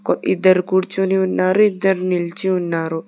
ఇద్దరు కూర్చుని ఉన్నారు ఇద్దరు నిలిచి ఉన్నారు.